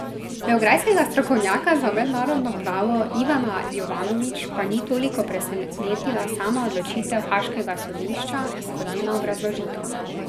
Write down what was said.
Beograjskega strokovnjaka za mednarodno pravo Ivana Jovanović pa ni toliko presenetila sama odločitev haaškega sodišča, kot njena obrazložitev.